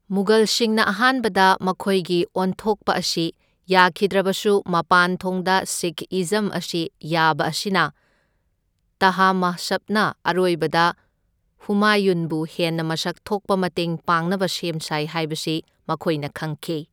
ꯃꯨꯒꯜꯁꯤꯡꯅ ꯑꯍꯥꯟꯕꯗ ꯃꯈꯣꯏꯒꯤ ꯑꯣꯟꯊꯣꯛꯄ ꯑꯁꯤ ꯌꯥꯈꯤꯗ꯭ꯔꯕꯁꯨ ꯃꯄꯥꯟꯊꯣꯡꯗ ꯁꯤꯈ ꯏꯖꯝ ꯑꯁꯤ ꯌꯥꯕ ꯑꯁꯤꯅ ꯇꯍꯃꯥꯁꯞꯅ ꯑꯔꯣꯏꯕꯗ ꯍꯨꯃꯥꯌꯨꯟꯕꯨ ꯍꯦꯟꯅ ꯃꯁꯛ ꯊꯣꯛꯄ ꯃꯇꯦꯡ ꯄꯥꯡꯅꯕ ꯁꯦꯝ ꯁꯥꯏ ꯍꯥꯏꯕꯁꯤ ꯃꯈꯣꯏꯅ ꯈꯪꯈꯤ꯫